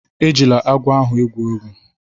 Ejila agwọ ahụ egwu egwu!